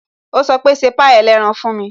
Ó sọ pé "ṣe pie ẹlẹ́ran fún mi"